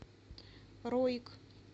роик